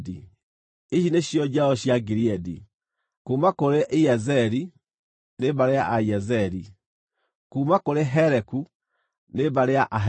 Ici nĩcio njiaro cia Gileadi: kuuma kũrĩ Iezeri, nĩ mbarĩ ya Aiezeli; kuuma kũrĩ Heleku, nĩ mbarĩ ya Aheleku;